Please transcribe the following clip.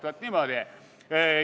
Vaat niimoodi.